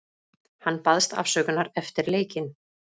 Hann baðst afsökunar eftir leikinn.